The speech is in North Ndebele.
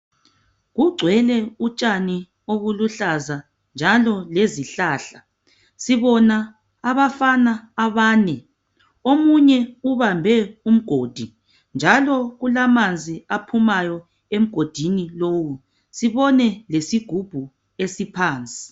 Kugcwele utshani obuluhlaza njalo lezihlahla. Sibona abafana abane. Omunye ubambe umgodi njalo kulamanzi aphumayo emgodini lowu sibone lesigubhu esiphansi.